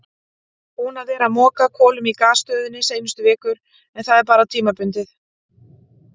Búinn að vera að moka kolum í gasstöðinni seinustu vikur en það er bara tímabundið.